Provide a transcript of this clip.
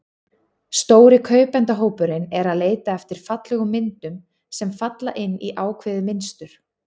Stóri kaupendahópurinn er að leita eftir fallegum myndum, sem falla inn í ákveðið mynstur.